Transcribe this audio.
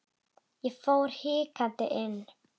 Ég fór hikandi inn.